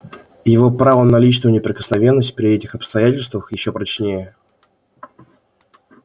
его право на личную неприкосновенность при этих обстоятельствах ещё прочнее